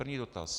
První dotaz.